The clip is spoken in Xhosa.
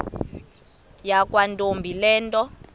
yakwantombi le nto